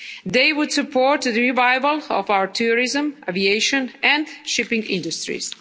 They would support the revival of our tourism, aviation and shipping industries.